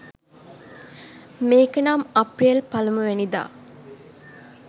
මේක නම් අප්‍රියෙල් පලමුවෙනිද